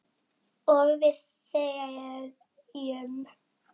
Og við þegjum.